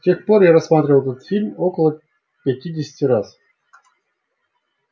с тех пор я рассматривал этот фильм около пятидесяти раз